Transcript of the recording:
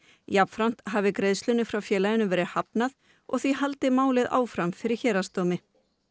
jafnframt hafi greiðslunni frá félaginu verið hafnað og því haldi málið áfram fyrir héraðsdómi